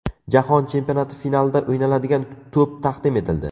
Jahon chempionati finalida o‘ynaladigan to‘p taqdim etildi.